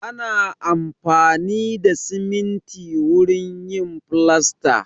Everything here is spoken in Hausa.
Ana amfani da siminti wurin yin filasta.